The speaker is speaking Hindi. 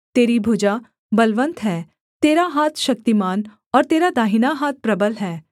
तेरी भुजा बलवन्त है तेरा हाथ शक्तिमान और तेरा दाहिना हाथ प्रबल है